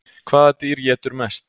Hvaða dýr étur mest?